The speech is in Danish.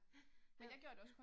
Ja, ja